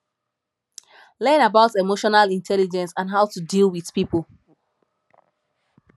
learn about emotional intelligence and how to deal with pipo